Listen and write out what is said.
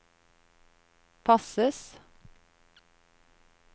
passes